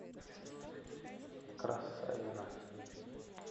красавино